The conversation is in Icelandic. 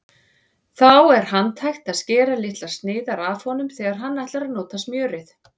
Þá er handhægt að skera litlar sneiðar af honum þegar þú ætlar að nota smjörið.